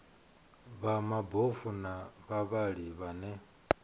vha mabofu na vhavhali vhane